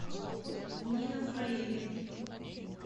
нина фрейли